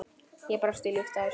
Ég brosi ljúft að þessu.